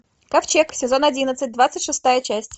ковчег сезон одиннадцать двадцать шестая часть